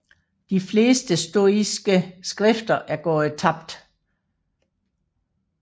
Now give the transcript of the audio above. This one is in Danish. De fleste stoiske skrifter er gået tabt